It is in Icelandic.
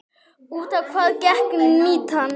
Út á hvað gekk mýtan?